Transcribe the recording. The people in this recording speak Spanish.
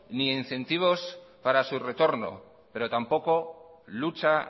ni incentivos para su retorno pero tampoco lucha